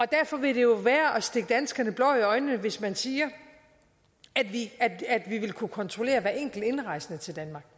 derfor vil det jo være at stikke danskerne blår i øjnene hvis man siger at vi vil kunne kontrollere hver enkelt indrejsende til danmark